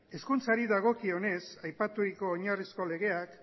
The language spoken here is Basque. hizkuntzari dagokionez aipaturiko oinarrizko legeak